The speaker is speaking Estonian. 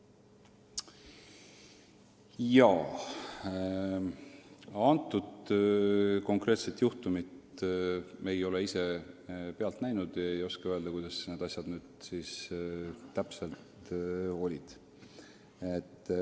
Ise ma konkreetset juhtumit pealt ei näinud ega oska öelda, kuidas need asjad täpselt olid.